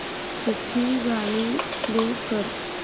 सूफी गाणी प्ले कर